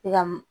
I ka m